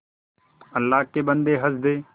अल्लाह के बन्दे हंस दे